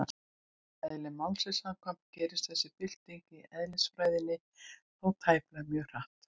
Eðli málsins samkvæmt gerist þessi bylting á eðlisfræðinni þó tæplega mjög hratt.